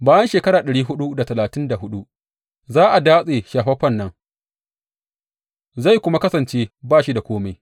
Bayan shekara ɗari huɗu da talatin da huɗu, za a datse Shafaffen nan zai kuma kasance ba shi da kome.